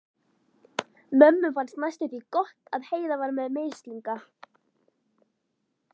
Mömmu fannst næstum því gott að Heiða var með mislinga.